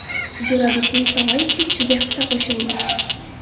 Jo‘rabekning sog‘ayib ketishiga hissa qo‘shaylik!